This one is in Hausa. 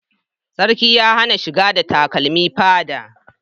Sarki ya hana shiga da takarmi fadar